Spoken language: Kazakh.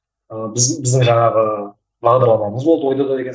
ыыы біз біздің жаңағы бағдарламамыз болды ой дода деген